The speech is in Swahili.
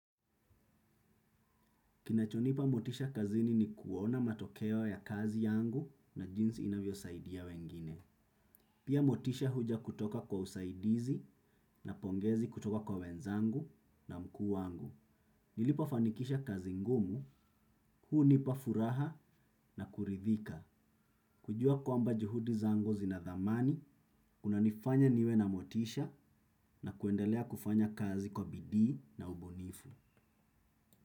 Kinachonipa motisha kazini ni kuona matokeo ya kazi yangu na jinsi inavyo saidia wengine. Pia motisha huja kutoka kwa usaidizi na pongezi kutoka kwa wenzangu na mkuu wangu. Nilipo fanikisha kazi ngumu, huu nipa furaha na kuridhika. Kujua kwamba juhudi zangu zinadhamani, kunanifanya niwe na motisha na kwendelea kufanya kazi kwa bidii na ubunifu.